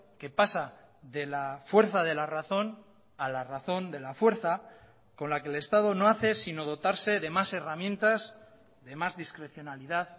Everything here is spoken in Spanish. que pasa de la fuerza de la razón a la razón de la fuerza con la que el estado no hace sino dotarse de más herramientas de más discrecionalidad